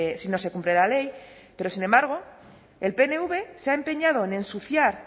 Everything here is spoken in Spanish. si no se cumple la ley pero sin embargo el pnv se ha empeñado en ensuciar